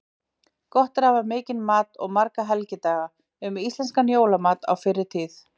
Gott er að hafa mikinn mat og marga helgidaga: Um íslenskan jólamat á fyrri tíð.